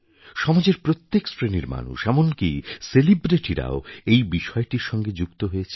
সমাজের প্রত্যেক শ্রেণির মানুষ এমনকি সেলিব্রিটিরাও এই বিষয়টির সঙ্গে যুক্ত হয়েছে